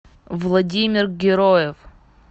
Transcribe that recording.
владимир героев